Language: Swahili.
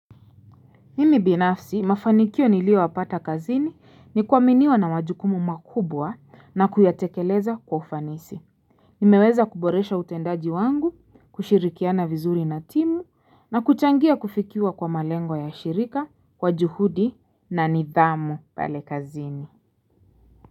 Mimi binafsi, mafanikio niliyoyapata kazini ni kuaminiwa na majukumu makubwa na kuyatekeleza kwa ufanisi. Nimeweza kuboresha utendaji wangu, kushirikiana vizuri na timu na kuchangia kufikiwa kwa malengo ya shirika, kwa juhudi na nidhamu pale kazini.